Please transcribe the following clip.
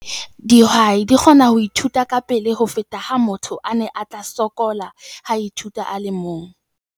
Dihwai di kgona ho ithuta kapele ho feta ha motho a ne a tla sokola ha a ithuta a le mong.